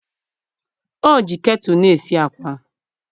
O ji ketulu na-esi akwa.